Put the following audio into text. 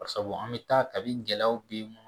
Bari sabu an bɛ taa kabini gɛlɛyaw bɛ yen